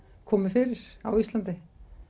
komið fyrir á Íslandi